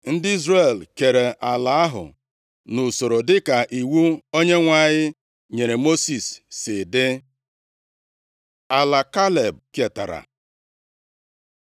Ndị Izrel keere ala ahụ nʼusoro dịka iwu Onyenwe anyị nyere Mosis si dị. Ala Kaleb ketara